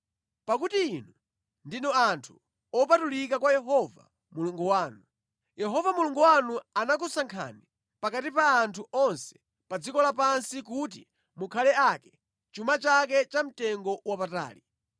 Pakuti inu ndinu anthu opatulika kwa Yehova Mulungu wanu. Yehova Mulungu wanu anakusankhani pakati pa anthu onse pa dziko lapansi kuti mukhale ake, chuma chake cha mtengo wapatali.